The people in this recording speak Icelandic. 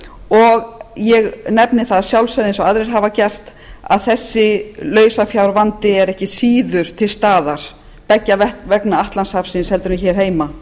og ég nefni það að sjálfsögðu eins og aðrir hafa gert að þessi lausafjárvandi er ekki síður til staðar beggja vegna atlantshafsins en hér heima